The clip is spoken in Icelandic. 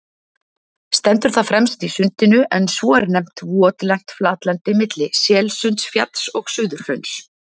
Stendur það fremst í Sundinu, en svo er nefnt votlent flatlendi milli Selsundsfjalls og Suðurhrauns.